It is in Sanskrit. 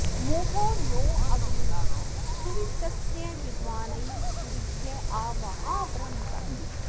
महो नो अग्ने सुवितस्य विद्वान्रयिं सूरिभ्य आ वहा बृहन्तम्